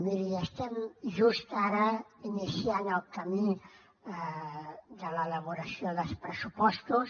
miri estem just ara iniciant el camí de l’elaboració dels pressupostos